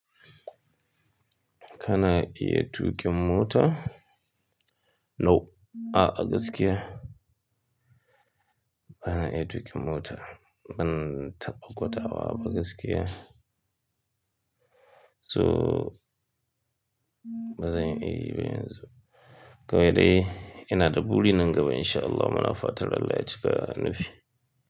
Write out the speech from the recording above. Kana iya tuƙin mota? No, a'a, gaskiya. Bana iya tuƙin mota. Ban taɓa gwadawa ba gaskiya. So ba zan iyayi ba yanzu. Ga yadda yana da buri nan gaba in sha Allah mana fatan Allah ya cika nufi.